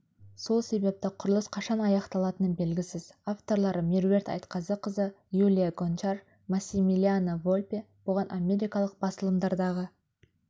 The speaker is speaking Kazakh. сол себепті құрылыс қашан аяқталатыны белгісіз авторлары меруерт айтқазықызы юлия гончар массимилиано вольпе бұған америкалық басылымдардағы